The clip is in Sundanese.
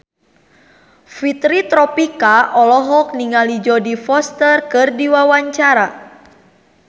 Fitri Tropika olohok ningali Jodie Foster keur diwawancara